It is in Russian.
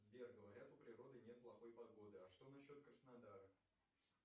сбер говорят у природы нет плохой погоды а что насчет краснодара